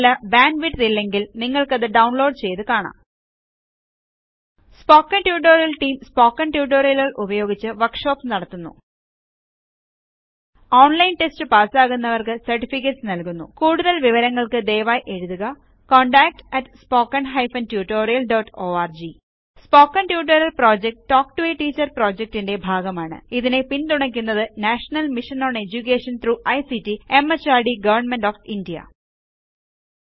നിങ്ങൾക്ക് നല്ല ബാൻറ്വിഡ്ത് ഇല്ലെങ്കിൽ നിങ്ങൾക്കിത് ഡൌൺലോഡ് ചെയ്ത് കാണാം സ്പോക്കൺ ട്യൂട്ടോറിയൽ ടീം സ്പോക്കൺ ട്യൂട്ടോറിയലുകൾ ഉപയോഗിച്ച് വർക്ഷോപ്പുകൾ നടത്തുന്നു ഓൺലൈൻ ടെസ്റ്റ് പാസാകുന്നവർക്ക് സെർടിഫികറ്റെസ് നല്കുന്നു കൂടുതൽ വിവരങ്ങൾക്ക് ദയവായി എഴുതുക contactspoken tutorialorg സ്പോക്കൺ ട്യൂട്ടോറിയലൽ project talk to a teacher പ്രോജക്ടിന്റെ ഭാഗമാണ് ഇതിനെ പിൻ തുണക്കുന്നത് national mission on education through ICT MHRD government of India